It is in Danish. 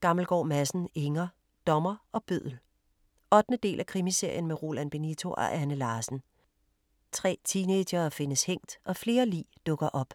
Gammelgaard Madsen, Inger: Dommer og bøddel 8. del af Krimiserien med Roland Benito og Anne Larsen. 3 teenagere findes hængt og flere lig dukker op.